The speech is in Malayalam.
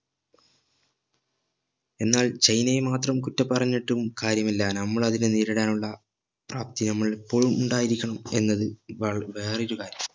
എന്നാൽ ചൈനയെ മാത്രം കുറ്റം പറഞ്ഞിട്ടും കാര്യമില്ല നമ്മൾ അതിനെ നേരിടാനുള്ള പ്രാപ്തി നമ്മൾ എപ്പോഴും ഉണ്ടായിരിക്കണം എന്നത് വ വേറൊരു കാര്യം